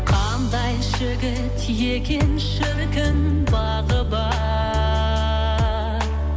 қандай жігіт екен шіркін бағы бар